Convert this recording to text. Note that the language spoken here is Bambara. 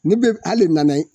Ne be hali nanaye